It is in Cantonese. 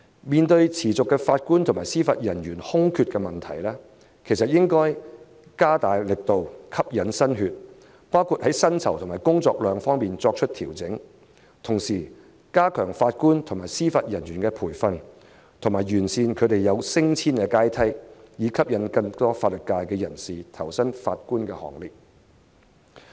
面對持續的法官和司法人員空缺的問題，當局應該加大力度，吸引新血，在薪酬和工作量方面作出調整，同時加強法官和司法人員的培訓，完善他們升遷的階梯，以吸引更多法律界人士投身法官行列。